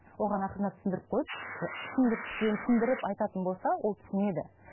оған ақырындап түсіндіріп қойып түсіндіріп айтатын болса ол түсінеді